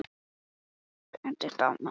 Hafðu ekki áhyggjur af því- svaraði Valdimar.